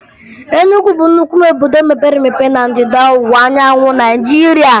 Enugwu bụ nnukwu obodo mepere emepe na Ndịda Ọwụwaanyanwụ Naịjirịa